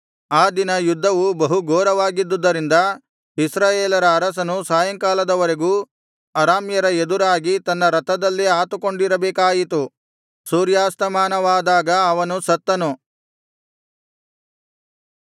ಆ ದಿನ ಯುದ್ಧವು ಬಹು ಘೋರವಾಗಿದ್ದುದರಿಂದ ಇಸ್ರಾಯೇಲರ ಅರಸನು ಸಾಯಂಕಾಲದವರೆಗೂ ಅರಾಮ್ಯರ ಎದುರಾಗಿ ತನ್ನ ರಥದಲ್ಲೇ ಆತುಕೊಂಡಿರಬೇಕಾಯಿತು ಸೂರ್ಯಾಸ್ತಮಾನವಾದಾಗ ಅವನು ಸತ್ತನು